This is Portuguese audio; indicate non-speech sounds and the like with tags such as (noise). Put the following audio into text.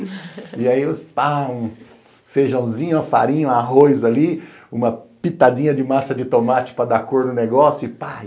(laughs) E aí, pão, feijãozinho, farinha, arroz ali, uma pitadinha de massa de tomate para dar cor no negócio e pai,